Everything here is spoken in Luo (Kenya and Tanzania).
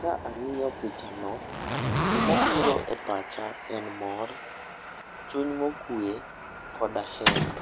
Ka ang'iyo pichano, gima biro e pacha en mor, chuny mokwe koda hera.